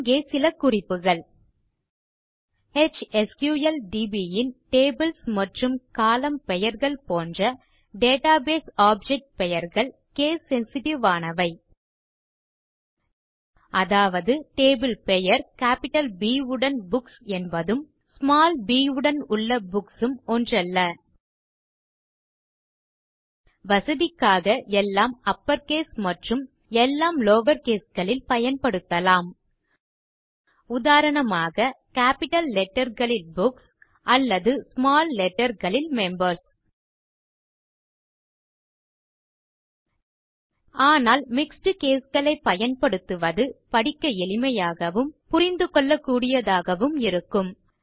இங்கே சில குறிப்புகள் எச்எஸ்கிள்டிபி ன் டேபிள்ஸ் மற்றும் கோலம்ன் பெயர்கள் போன்ற டேட்டாபேஸ் ஆப்ஜெக்ட் பெயர்கள் கேஸ் சென்சிட்டிவ் ஆனவை அதாவது டேபிள் பெயர் கேப்பிட்டல் ப் உடன் புக்ஸ் என்பதும் ஸ்மால் ப் உடன் உள்ள புக்ஸ் ம் ஒன்றல்ல வசதிக்காக எல்லாம் அப்பர் கேஸ் மற்றும் எல்லாம் லவர் கேஸ் களில் பயன்படுத்தலாம் உதாரணமாக கேப்பிட்டல் லெட்டர் களில் புக்ஸ் அல்லது ஸ்மால் letterகளில் மெம்பர்ஸ் ஆனால் மிக்ஸ்ட் caseகளைப் பயன்படுத்துவது படிக்க எளிமையாகவும் புரிந்துகொள்ளகூடியதாகவும் இருக்கும்